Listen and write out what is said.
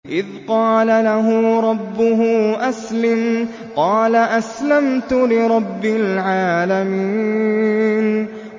إِذْ قَالَ لَهُ رَبُّهُ أَسْلِمْ ۖ قَالَ أَسْلَمْتُ لِرَبِّ الْعَالَمِينَ